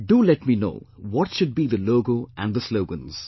Do let me know what should be the logo and the slogans